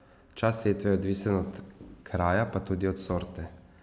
Čas setve je odvisen od kraja pa tudi od sorte.